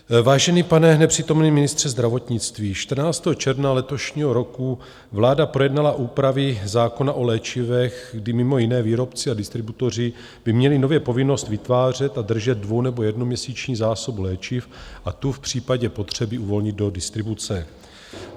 Vážený pane nepřítomný ministře zdravotnictví, 14. června letošního roku vláda projednala úpravy zákona o léčivech, kdy mimo jiné výrobci a distributoři by měli nově povinnost vytvářet a držet dvou- nebo jednoměsíční zásobu léčiv a tu v případě potřeby uvolnit do distribuce.